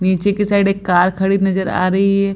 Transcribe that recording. नीचे की साइड एक कार खड़ी नजर आ रही है।